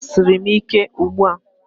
A gbasiri m ike ugbua